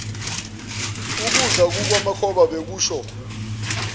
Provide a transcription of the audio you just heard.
ukuza kukamakhoza bekusho